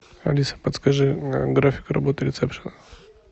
алиса подскажи график работы ресепшена